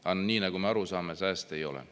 Aga nii, nagu me aru saame, sääste ei ole.